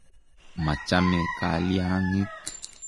Ma chame kalyang'ik.